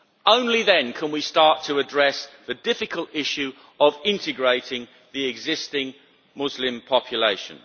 Only then can we start to address the difficult issue of integrating the existing Muslim population.